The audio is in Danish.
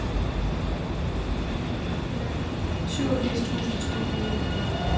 syvogfirs tusind tre hundrede og enogfyrre